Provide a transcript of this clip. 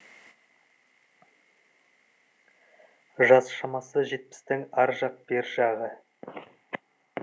жас шамасы жетпістің ар жақ бер жағы